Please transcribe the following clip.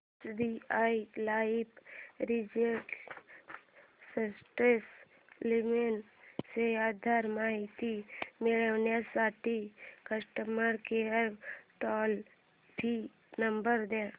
SBI life retire smart plan ची अधिक माहिती मिळविण्यासाठी customer care toll free number दे